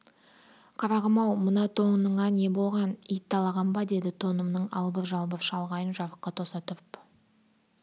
қарағым-ау мына тоныңа не болған ит талаған ба деді тонымның албыр-жалбыр шалғайын жарыққа тоса тұрып